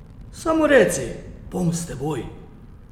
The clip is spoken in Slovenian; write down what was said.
Samo reci, bom s teboj!